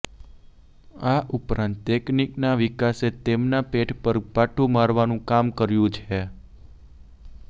આ ઉપરાંત ટેકનીકના વિકાસે તેમના પેટ પર પાટું મારવાનું કામ કર્યું છે